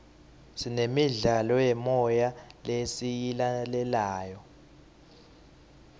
sinemidlalo yemoya lesiyilalelayo